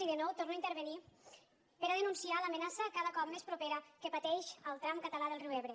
i de nou torno a intervenir per a denunciar l’amenaça cada cop més propera que pateix el tram català del riu ebre